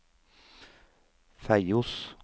Feios